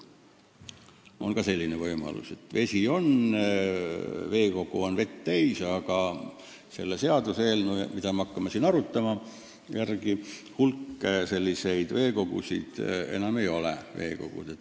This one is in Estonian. On ka selline võimalus, et vesi on, süvend on vett täis, aga selle seaduseelnõu järgi see veekogu enam ei ole.